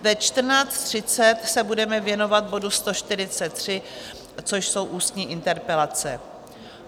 Ve 14.30 se budeme věnovat bodu 143, což jsou ústní interpelace.